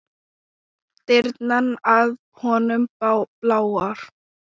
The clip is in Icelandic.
Dyrnar að honum bláar.